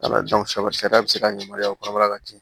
sariya be se ka yamaruya o kɔnɔbara ka can